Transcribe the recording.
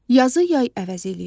Yazı yay əvəz eləyir.